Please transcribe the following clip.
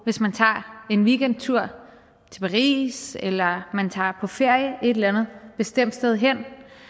hvis man tager en weekendtur til paris eller man tager på ferie et eller andet bestemt sted hen